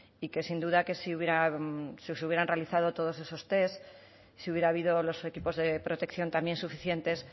y que sin duda que si hubieran realizado todos esos test si hubiera habido los equipos de protección también suficientes